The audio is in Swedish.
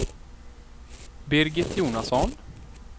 Birgit Jonasson